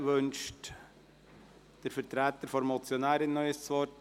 Wünscht der Vertreter der Motionärin nochmals das Wort?